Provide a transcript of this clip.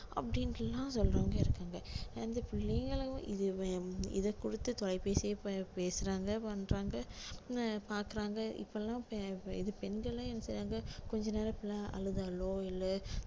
அப்படின்ட்டு எல்லாம் சொல்றவங்க இருக்காங்க ரெண்டு பிள்ளைகளும் இத இத கொடுத்து தொலைபேசியை பே~ பேசுறாங்க பண்றாங்க அஹ் பாக்குறாங்க இப்ப எல்லாம் பெ~ பெ~ இது பெண்களும் என்ன சேந்து கொஞ்ச நேரம் எல்லாம் அழுதாலும் இல்ல